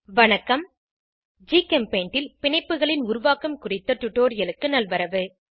வணக்கம் ஜிகெம்பெய்ண்ட் ல் பிணைப்புகளின் உருவாக்கம் குறித்த டுடோரியலுக்கு நல்வரவு